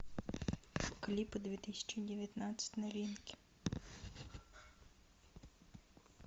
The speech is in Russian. клипы две тысячи девятнадцать новинки